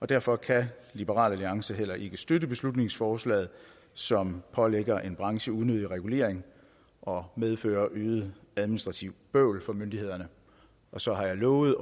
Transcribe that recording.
derfor kan liberal alliance heller ikke støtte beslutningsforslaget som pålægger en branche unødig regulering og medfører øget administrativt bøvl for myndighederne så har jeg lovet